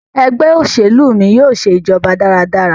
Ẹgbẹ́ òṣèlú mí yóò ṣe ìjọba dára dára.